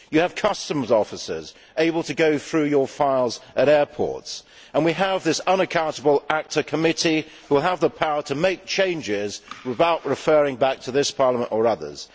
You have customs officers able to go through your files at airports, and we have this unaccountable ACTA committee which has the power to make changes without referring back to this Parliament or others.